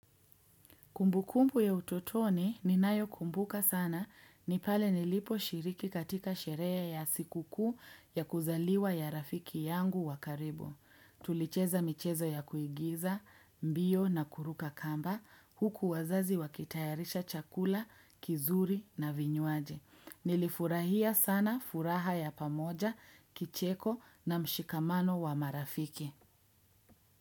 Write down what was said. Kumbukumbu ya utotoni ninayo kumbuka sana ni pale niliposhiriki katika sherehe ya siku kuu ya kuzaliwa ya rafiki yangu wa karibu. Tulicheza michezo ya kuigiza, mbio na kuruka kamba huku wazazi wakitayarisha chakula kizuri na vinywaji. Nilifurahia sana furaha ya pamoja, kicheko na mshikamano wa marafiki.